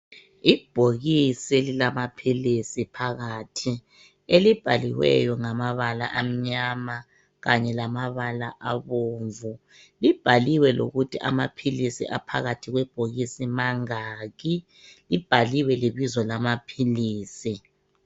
Ibhokisi elilamaphilisi phakathi elibhaliweyo ngamabala amnyama kanye lamabala abomvu, libhaliwe lokuthi amaphilisi aphakathi kwebhokisi mangaki, libhaliwe lebizo lamaphilisi.